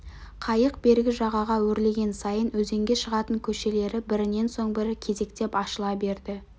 қайық бергі жағаға өрлеген сайын өзенге шығатын көшелері бірінен соң бірі кезектеп ашыла берді